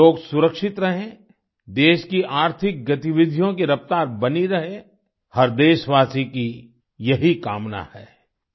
लोग सुरक्षित रहें देश की आर्थिक गतिविधियों की रफ़्तार बनी रहे हर देशवासी की यही कामना है